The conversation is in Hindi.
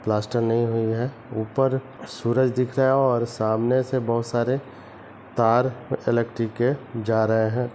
प्लास्टर नई हुई हैं ऊपर सूरज दिख रहा हैं और सामने से बहुत सारे तार इलेक्ट्रिक के जा रहे हैं।